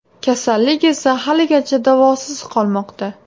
Kasallik esa haligacha davosiz qolmoqda.